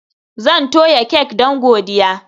Zan toya kek don godiya